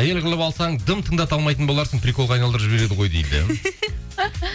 әйел қылып алсаң дым тыңдата алмайтын боларсың приколға айналдырып жібереді ғой дейді